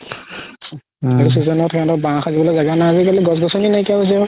এইটো season ত সিহতৰ বাহ সাজিবলৈ জাগা নাই আজি কালি গছ গছনী নাই কিয়া হৈ গৈছে আৰু